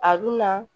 A dunna